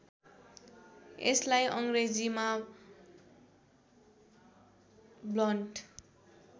यसलाई अङ्ग्रेजीमा ब्लन्ट